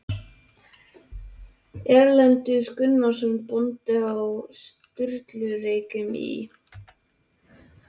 Erlendur Gunnarsson bóndi á Sturlureykjum í